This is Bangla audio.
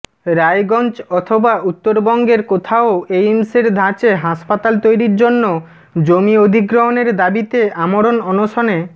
রায়গঞ্জ অথবা উত্তরবঙ্গের কোথাও এইমসের ধাঁচে হাসপাতাল তৈরির জন্য জমি অধিগ্রহণের দাবিতে আমরণ অনশনে